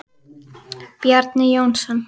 Bjarni Jónsson